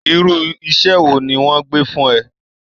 Irú iṣẹ́ wo ni wọ́n gbé fún ẹ!